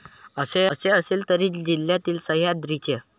असे असले तरी जिल्हातील सह्याद्रीच्या.